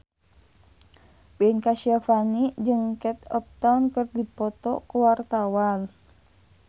Ben Kasyafani jeung Kate Upton keur dipoto ku wartawan